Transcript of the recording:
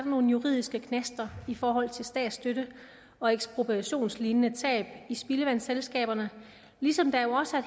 nogle juridiske knaster i forhold til statsstøtte og ekspropriationslignende tab i spildevandsselskaberne ligesom der jo også er